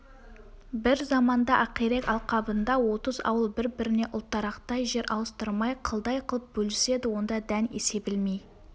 бір заманда ақирек алқабында отыз ауыл бір-біріне ұлтарақтай жер ауыстырмай қылдай кылып бөліседі онда дән себілмей